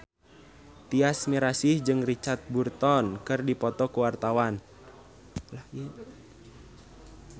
Tyas Mirasih jeung Richard Burton keur dipoto ku wartawan